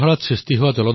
অদৰাগ ভুমি মগ্না